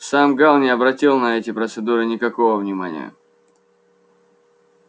сам гаал не обратил на эти процедуры никакого внимания